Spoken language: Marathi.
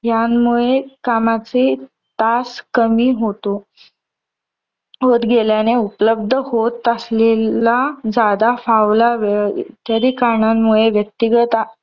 यांमुळे कामाचे तास कमी होतो. होत गेल्याने, उपलब्ध होत असलेला ज्यादा फावला वेळ इत्यादी कारणामुळे व्यक्तिगत